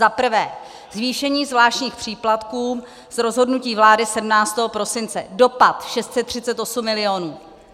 Za prvé zvýšení zvláštních příplatků z rozhodnutí vlády 17. prosince - dopad 638 milionů.